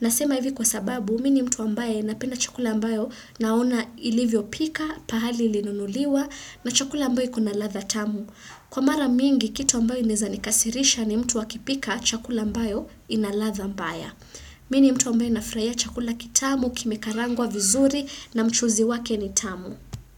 Nasema hivi kwa sababu, mi ni mtu ambaye napenda chakula ambayo naona ilivyo pika, pahali ilinunuliwa, na chakula ambayo kuna ladha tamu. Kwa mara mingi, kitu ambayo inaweza nikasirisha ni mtu akipika chakula ambayo ina ladha mbaya. Mi ni mtu ambaye nafurahia chakula kitamu kime karangwa vizuri na mchuzi wake ni tamu.